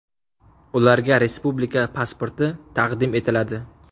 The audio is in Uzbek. Ularga respublika pasporti taqdim etiladi.